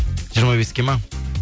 жиырма беске ма